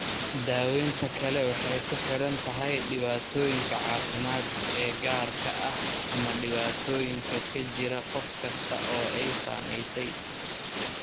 Daawaynta kale waxay ku xidhan tahay dhibaatooyinka caafimaad ee gaarka ah ama dhibaatooyinka ka jira qof kasta oo ay saamaysay.